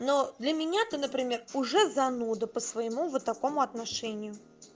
но для меня ты например уже зануда по-своему вот такому отношению